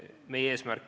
Palun!